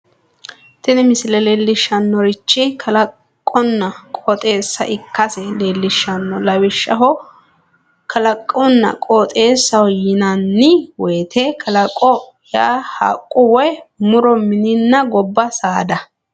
tini misile leellishshannorichi kalaqonna qooxeessa ikkasi leellishshanno lawishshaho kalaqonna qooxeessaho yinanni woyiite kalaqo yaa haqqu woy muro mininna gobba saada.